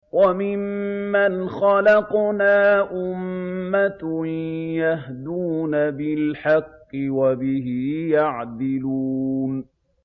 وَمِمَّنْ خَلَقْنَا أُمَّةٌ يَهْدُونَ بِالْحَقِّ وَبِهِ يَعْدِلُونَ